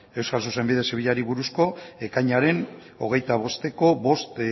euskal zuzenbide zibilari buruzko ekainaren hogeita bosteko bost